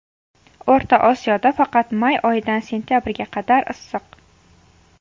O‘rta Osiyoda faqat may oyidan sentabrga qadar issiq.